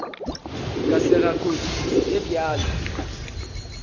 ka sega kotsi ye bjalo